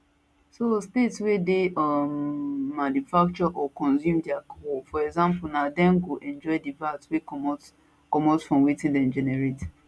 so states wey dey um manufacture and or consume di alcohol for example na dem go enjoy di vat wey comot comot from wetin dem generate